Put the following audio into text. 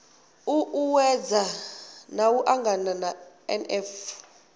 u uuwedza u angana na nf